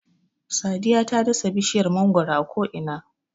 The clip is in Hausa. Sadiya ta dasa bishiyar mangwaro a ko'ina.